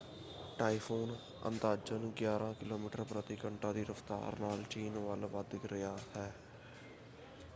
Typhoon ਅੰਦਾਜ਼ਨ ਗਿਆਰਾਂ kilometre ਪ੍ਰਤੀ ਘੰਟਾ ਦੀ ਰਫ਼ਤਾਰ ਨਾਲ ਚੀਨ ਵੱਲ ਵੱਧ ਰਿਹਾ ਹੈ।